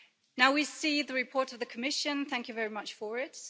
Now we have the report of the Commission thank you very much for it.